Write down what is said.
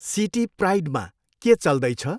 City प्राइडमा के चल्दैछ?